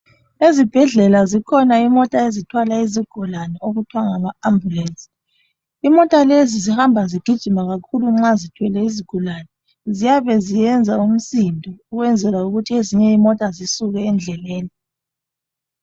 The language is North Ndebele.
Ezibhedlela zikhona imota ezithwala izigulane okuthiwa ngama ambulensi, imota lezi zihamba zigijima kakhulu nxa zithwele izigulane, ziyabe ziyenza umsindo, ukwenzela ukuthi ezinye imota zisuke endleleni.